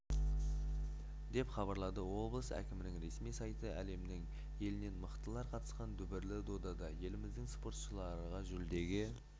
деп хабарлады облыс әкімінің ресми сайты әлемнің елінен мықтылар қатысқан дүбірлі додада еліміздің спортшылары жүлдеге